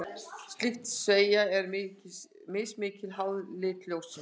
Slík sveigja er mismikil, háð lit ljóssins.